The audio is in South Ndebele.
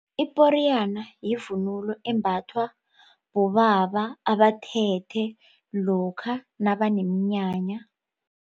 Iporiyana yivunulo embathwa bobaba abathethe lokha nabaneminyanya.